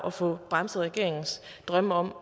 at få bremset regeringens drømme om at